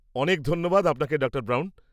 অনেক ধন্যবাদ আপনাকে ডাঃ ব্রাউন।